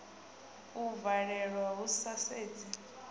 u valelwa hu sa sedzi